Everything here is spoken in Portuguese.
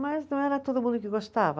Mas não era todo mundo que gostava.